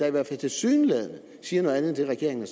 i hvert fald tilsyneladende siger noget andet end det regeringen